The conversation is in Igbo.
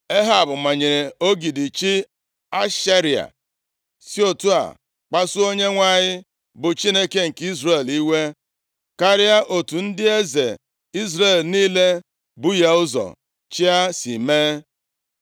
Ehab manyere ogidi chi Ashera, si otu a kpasuo Onyenwe anyị bụ Chineke nke Izrel iwe karịa otu ndị eze Izrel niile bu ya ụzọ chịa si mee.